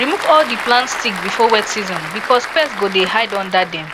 remove all di plant stick before wet season because pest go dey hide under dem